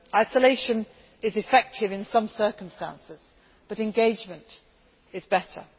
Isolation is effective in some circumstances, but engagement is better.